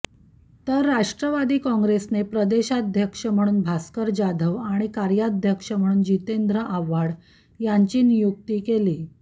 तर राष्ट्रवादी काँग्रेसने प्रदेशाध्यक्ष म्हणून भास्कर जाधव आणि कार्याध्यक्ष म्हणून जितेंद्र आव्हाड यांची नियुक्ती केली